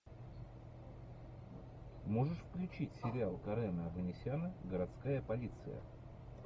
можешь включить сериал карена оганесяна городская полиция